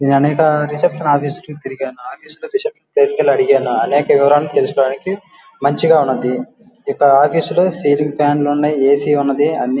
నేను అనేక reception office లా చుట్టూ తిరిగాను ఆఫీసు తీసుకెళ్ళి అనేక వివరాలు తెలుసుకోడానికి మంచిగా ఉన్నది ఇక్కడ ఆఫీసు లో సీలింగ్ ఫ్యాన్ లు ఉనాయి ఏసి ఉన్నది అన్ని --